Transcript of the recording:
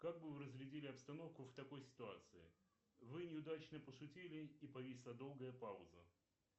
как бы вы разрядили обстановку в такой ситуации вы неудачно пошутили и повисла долгая пауза